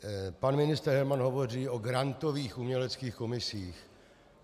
Pan ministr Herman hovoří o grantových uměleckých komisích.